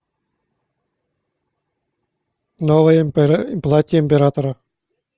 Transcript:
новое платье императора